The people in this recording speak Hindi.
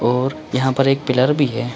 और यहाँ पर एक पिलर भी है।